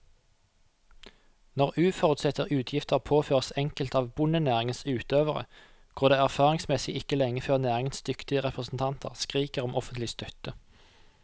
Når uforutsette utgifter påføres enkelte av bondenæringens utøvere, går det erfaringsmessig ikke lenge før næringens dyktige representanter skriker om offentlig støtte.